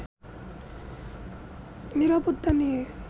নিরাপত্তা নিয়ে